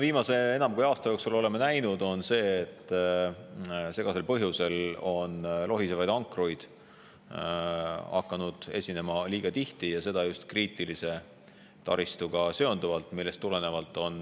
Viimase enam kui aasta jooksul oleme näinud, et segastel põhjustel on lohisevaid ankruid hakanud esinema liiga tihti, seda just kriitilise taristuga seonduvalt.